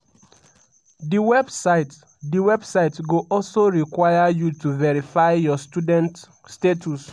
di website di website go also require you to verify your student status.